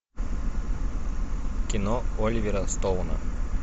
кино оливера стоуна